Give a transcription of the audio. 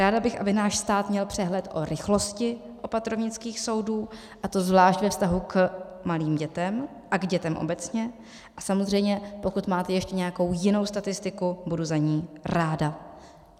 Ráda bych, aby náš stát měl přehled o rychlosti opatrovnických soudů, a to zvlášť ve vztahu k malým dětem a k dětem obecně, a samozřejmě, pokud máte ještě nějakou jinou statistiku, budu za ni ráda.